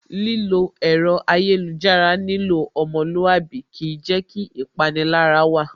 Lílo ẹ̀rọ ayélujára nílò ọmọlúwàbí kìí jẹ́ kí ìpanilára wà